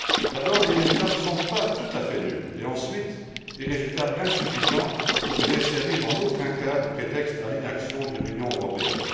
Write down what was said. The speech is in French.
D'abord, les résultats ne sont pas tout à fait nuls et, ensuite, des résultats insuffisants ne devraient servir en aucun cas de prétexte à l'inaction de l'Union européenne.